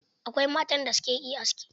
Akwai matan da suka iya aski.